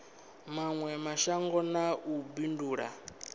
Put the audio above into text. mawe mashango na u bindula